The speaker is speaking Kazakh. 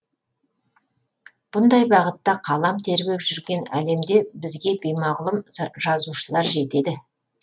бұндай бағытта қалам тербеп жүрген әлемде бізге беймағұлым жазушылар жетеді